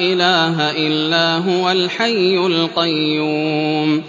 إِلَٰهَ إِلَّا هُوَ الْحَيُّ الْقَيُّومُ